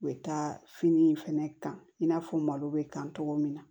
U bɛ taa fini in fɛnɛ kan i n'a fɔ malo bɛ kan cogo min na